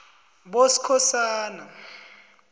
boskhosana